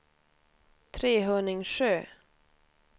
Trehörningsjö